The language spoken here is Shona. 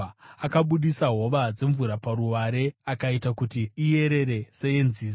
akabudisa hova dzemvura paruware akaita kuti iyerere seyenzizi.